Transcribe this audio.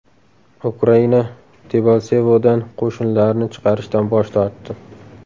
Ukraina Debalsevodan qo‘shinlarini chiqarishdan bosh tortdi.